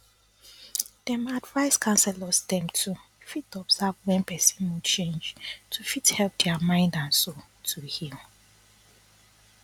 dem advice counselors dem too fit observe wen person mood change to fit help dia mind and soul to heal